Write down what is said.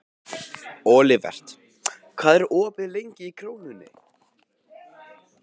Olivert, hvað er opið lengi í Krónunni?